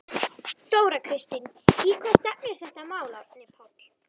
Þóra Kristín: Í hvað stefnir þetta mál Árni Páll?